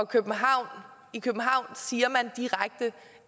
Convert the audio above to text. københavn siger man direkte